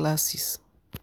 na serious matter